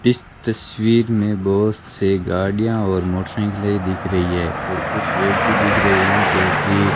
इस तस्वीर में बहोत से गाड़ियां और मोटरसाइकिलें दिख रही है और कुछ व्यक्ति दिख रहे हैं जो की --